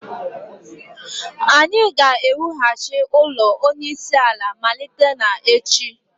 anyị ga-ewughachi ụlọ onyeisiala malite n'echi